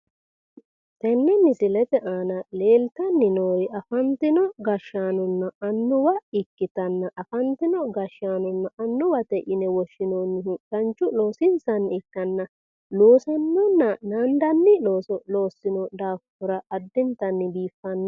Tenne misile aana leeltanni noori afantino gashshaanonna annuwa ikkitanna afantino gashshaanonna annuwate yine woshshinoonnihu danchu loosinsanni ikkanna loosinnonna naandanni looso loossino daafira addintanni biiffanno.